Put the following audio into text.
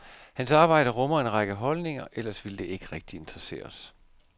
Hans arbejde rummer en række holdninger, ellers ville det ikke rigtig interessere os.